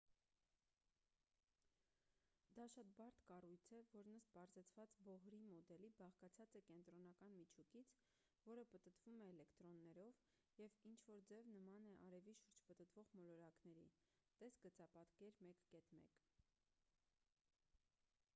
դա շատ բարդ կառույց է որն ըստ պարզեցված բոհրի մոդելի բաղկացած է կենտրոնական միջուկից որը պտտվում է էլեկտրոններով և ինչ որ ձև նման է արևի շուրջ պտտվող մոլորակների տես գծապատկեր 1.1